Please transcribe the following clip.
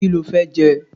Kí lo fẹ́ jẹ?